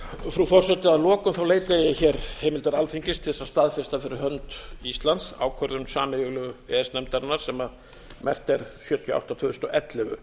frú forseti að lokum leita ég hér heimildar alþingis til þess að staðfesta fyrir hönd íslands ákvörðun sameiginlegu e e s nefndarinnar sem merkt er sjötíu og átta tvö þúsund og ellefu